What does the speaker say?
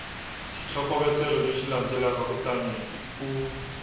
xitlhokovetselo lexi landzelaka kutani u